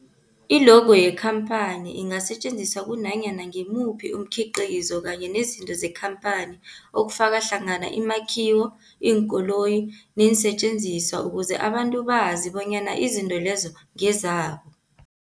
I-logo yekhamphani ingasetjenziswa kunanyana ngimuphi umkhiqizo kanye nezinto zekhamphani okufaka hlangana imakhiwo, iinkoloyi neensentjenziswa ukuze abantu bazi bonyana izinto lezo ngezabo.